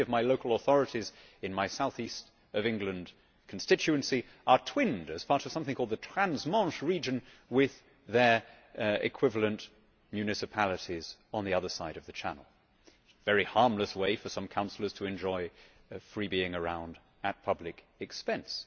Many of the local authorities in my south east of England constituency are twinned, as part of something called the Trans Manche Region, with their equivalent municipalities on the other side of the Channel a very harmless way for some councillors to enjoy freebie ing around at public expense.